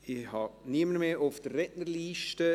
Es gibt niemanden mehr auf der Rednerliste.